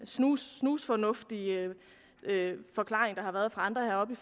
snusfornuftige forklaring der har været fra andre heroppe